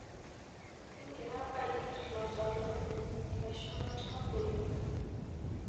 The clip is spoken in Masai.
Kingira aigerr lataalamu leshumata oleng'.